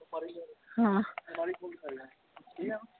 ਹਮ .